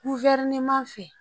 Guwerneman fɛ.